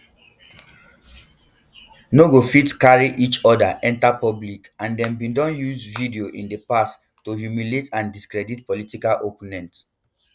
no go fit carry enta public and dem bin don use videos in di past to humiliate and discredit political opponent